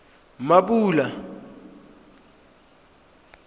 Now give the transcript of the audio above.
mmapule